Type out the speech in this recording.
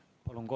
Palun!